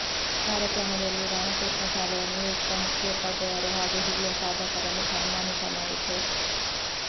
ಕಾರ್ಯಕ್ರಮದಲ್ಲಿ ರಾಮಕೃಷ್ಣ ಶಾಲೆಯ ನಿವೃತ್ತ ಮುಖ್ಯೋಪಾಧ್ಯಯರು ಹಾಗೂ ಹಿರಿಯ ಸಾಧಕರನ್ನು ಸನ್ಮಾನಿಸಲಾಯಿತು